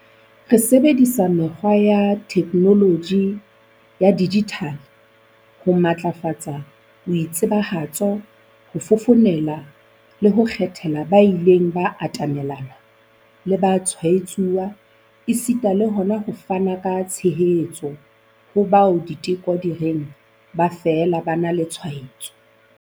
Re sebedisa mekgwa ya theknoloji ya dijithale ho matlafatsa boitsebahatso, ho fofonela le ho kgethela ba ileng ba atamelana le batshwaetsuwa, esita le hona ho fana ka tshehetso ho bao diteko di reng ba fela ba na le tshwaetso.